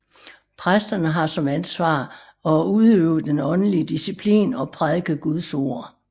Præsterne har som ansvar at udøve den åndelige disciplin og prædike Guds ord